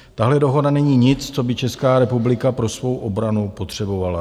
Tahle dohoda není nic, co by Česká republika pro svou obranu potřebovala.